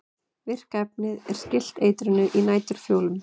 Virka efnið er skylt eitrinu í næturfjólum.